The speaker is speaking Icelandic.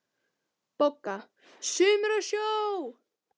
BOGGA: Sumir á sjó!